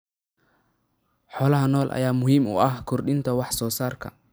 Xoolaha nool ayaa muhiim u ah kordhinta wax soo saarka.